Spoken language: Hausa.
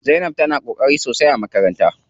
Zainab tana ƙoƙari sosai a makaranta.